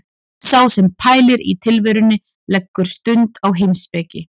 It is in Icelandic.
Sá sem pælir í tilverunni leggur stund á heimspeki.